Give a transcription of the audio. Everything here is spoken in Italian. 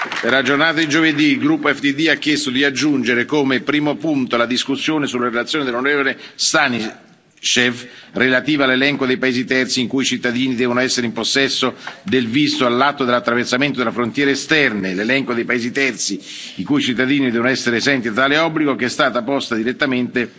Per la giornata di giovedì, il gruppo EFDD ha chiesto di aggiungere, come primo punto, la discussione sulla relazione dell'onorevole Stanishev relativa all'elenco dei paesi terzi i cui cittadini devono essere in possesso del visto all'atto dell'attraversamento delle frontiere esterne e l'elenco dei paesi terzi i cui cittadini sono esenti da tale obbligo, che è stata posta direttamente